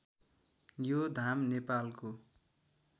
यो धाम नेपालको